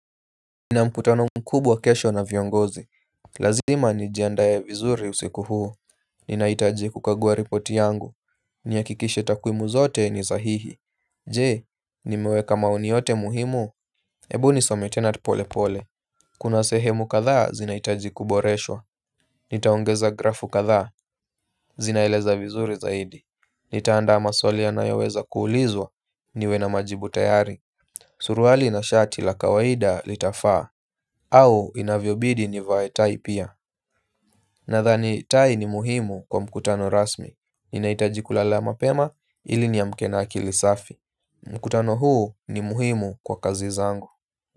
Nina mkutano mkubwa kesho na viongozi. Lazima nijiandae vizuri usiku huu. Ninahitaji kukagua ripoti yangu. Nihakikishe takwimu zote ni sahihi. Je, nimeweka maoni yote muhimu. Hebu nisome tena tu polepole. Kuna sehemu kadhaa zinahitaji kuboreshwa. Nitaongeza grafu kadhaa. Zinaeleza vizuri zaidi. Nitaandaa maswali yanayoweza kuulizwa. Niwe na majibu tayari. Suruali na shati la kawaida litafaa au inavyobidi nivae tai pia. Nadhani tai ni muhimu kwa mkutano rasmi. Ninahitaji kulala mapema ili niamke na akili safi. Mkutano huu ni muhimu kwa kazi zangu.